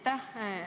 Aitäh!